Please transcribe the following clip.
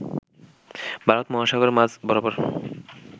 ভারত মহাসাগরের মাঝ বরাবর